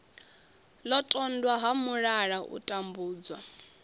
londotwa ha mulala u tambudzwa